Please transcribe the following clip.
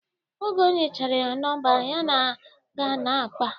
Ka onyechere ya nọmba, ha ga na-akpa